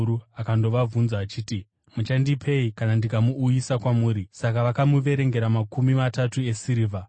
akandobvunza achiti, “Muchandipei kana ndikamuuyisa kwamuri?” Saka vakamuverengera makumi matatu esirivha.